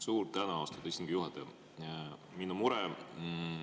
Suur tänu, austatud istungi juhataja!